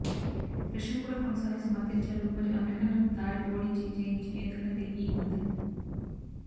Russian కూడా కొన్నిసార్లు సమర్థించారు మరియు అమెరికన్లు దాడి ఓడించి జయించి ఎందుకంటే ఈ ఉంది